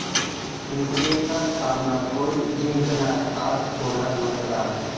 एमसीएचा सामना कोण जिंकणार?, आज होणार मतदान